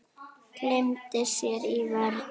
Gleymdi sér í vörn.